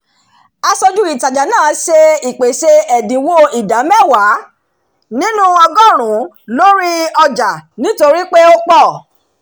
aṣojú ìtajà náà ṣe ìpèsè ẹ̀dínwó ìdá mẹ́wàá nínú ọgọ́rùn-ún lórí gbogbo ọjà nítorí pé ó pọ̀